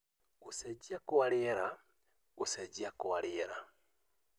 Gũcenjia kwa rĩera: Gũcenjia kwa rĩera